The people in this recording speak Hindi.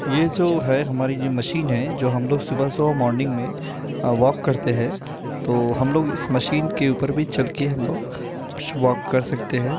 ये जो है हमरी जो मशीन है जो हम लोग सुबह-सुबह मॉर्निंग में वाक करते है तो हम लोग इस मशीन के ऊपर भी चल के हम लोग वाक कर सकते है।